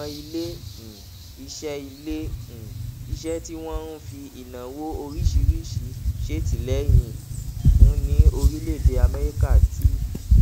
àwọn ilé um iṣẹ ilé um iṣẹ tí wọn ń fi ìnáwó oríṣiríṣi ṣètìléyìn fún ní orílẹèdè améríkà ti